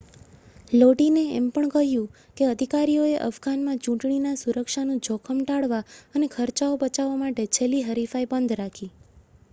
લોડીને એમ પણ કહ્યું કે અધિકારીઓએ અફઘાનમાં ચૂંટણીના સુરક્ષાનું જોખમ ટાળવા અને ખર્ચાઓ બચાવવા માટે છેલ્લી હરીફાઈ બંધ રાખી